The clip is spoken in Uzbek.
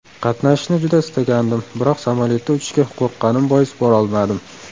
Qatnashishni juda istagandim, biroq samolyotda uchishga qo‘rqqanim bois borolmadim.